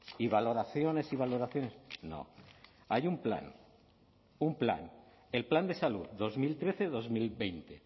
y valoraciones y valoraciones no hay un plan un plan el plan de salud dos mil trece dos mil veinte